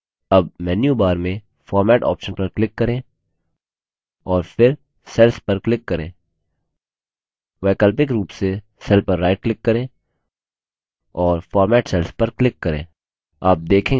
अब मेन्यूबार में format option पर क्लिक करें और फिर cells पर क्लिक करें वैकल्पिक रूप से सेल पर राइट क्लिक करें और format cells पर क्लिक करें